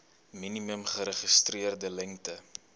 minimum geregistreerde lengte